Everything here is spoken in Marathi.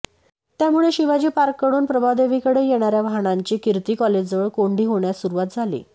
त्यामुळे शिवाजी पार्ककडून प्रभादेवीकडे येणाऱ्या वाहनांची कीर्ती कॉलेजजवळ कोंडी होण्यास सुरुवात झाली